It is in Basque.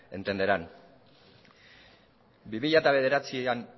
entenderán bi mila bederatzian